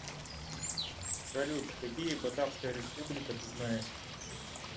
салют какие батавская республика ты знаешь